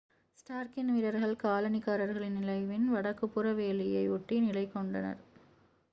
ஸ்டார்க்கின் வீரர்கள் காலனிக்காரர்களின் நிலையின் வடக்குப்புற வேலியை ஒட்டி நிலை கொண்டனர்